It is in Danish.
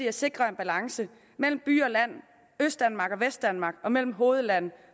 at sikre en balance mellem by og land østdanmark og vestdanmark og mellem hovedland